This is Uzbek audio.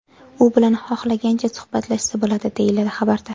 U bilan xohlagancha suhbatlashsa bo‘ladi”, deyiladi xabarda.